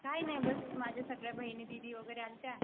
काय नाही बस माझ्या सगळ्या बहिणी दीदी वगैरे आलत्या.